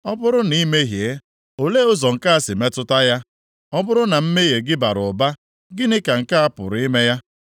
Ọ bụrụ na i mehie, olee ụzọ nke a si metụta ya? Ọ bụrụ na mmehie gị bara ụba, gịnị ka nke a pụrụ ime ya?